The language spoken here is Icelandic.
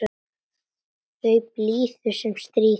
Í blíðu sem stríðu.